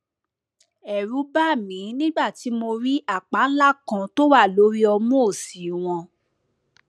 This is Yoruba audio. ẹrù bà mí nígbà tí mo rí àpá ńlá kan tó wà lórí ọmú òsì wọn